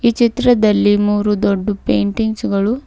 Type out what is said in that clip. ಈ ಚಿತ್ರದಲ್ಲಿ ಮೂರು ದೊಡ್ಡು ಪೇಂಟಿಂಗ್ಸ್ ಗಳು--